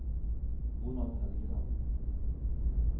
Ronald Helgeland